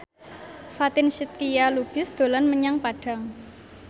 Fatin Shidqia Lubis dolan menyang Padang